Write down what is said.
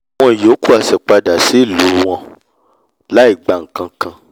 àwọn ìyókù a sì padà sílù padà sílù wọn l’áìgba nkakan